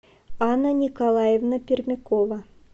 анна николаевна пермякова